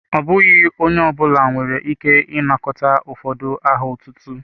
Ọ bụghị onye ọ bụla nwere ike ịnakọta ụfọdụ aha ọtụtụ.